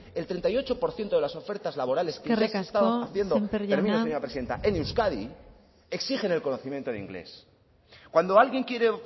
el treinta y ocho por ciento de las ofertas laborales que se han estado haciendo en euskadi eskerrik asko sémper jauna término señora presidenta exigen el conocimiento de inglés cuando alguien quiere